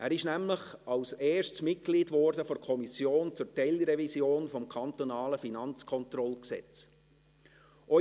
Er wurde nämlich als Erstes Mitglied der Kommission zur Teilrevision des Gesetzes über die Finanzkontrolle (Kantonales Finanzkontrollgesetz, KFKG).